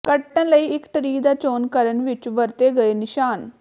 ਕੱਟਣ ਲਈ ਇੱਕ ਟ੍ਰੀ ਦਾ ਚੋਣ ਕਰਨ ਵਿੱਚ ਵਰਤੇ ਗਏ ਨਿਸ਼ਾਨ